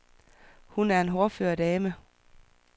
Hun er en hårdfør dame.